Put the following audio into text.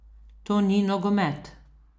To ni nogomet.